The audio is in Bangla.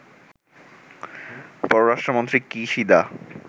পররাষ্ট্রমন্ত্রী কিশিদা